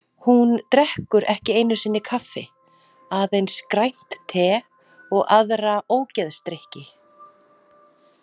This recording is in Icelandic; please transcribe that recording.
Hún drekkur ekki einu sinni kaffi, aðeins grænt te og aðra ógeðsdrykki.